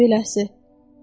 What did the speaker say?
Özü də beləsi.